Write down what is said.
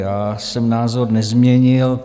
Já jsem názor nezměnil.